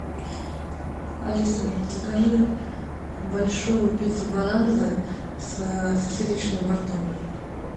алиса закажи большую пиццу бананза с сосисочным бортом